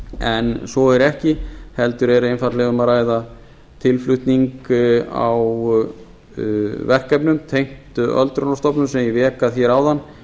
en svo er ekki heldur er einfaldlega um að ræða tilflutning a þeim verkefnum tengt öldrunarstofnunum sem ég vék að hér áðan